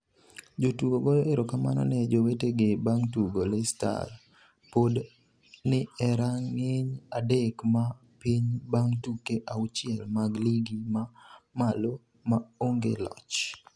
Jotugo goyo erokamano ne jowetegi bang' tugo Leicester pod ni e rang'iny adek ma piny bang' tuke auchiel mag ligi ma malo ma onge loch.